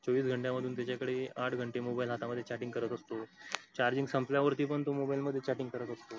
चोवीस घंट्यामधून त्याच्याकडे आठ घंटे mobile हातामध्ये chatting करत असतो. charging संपल्यावरती पण तो mobile मध्ये chatting करत असतो.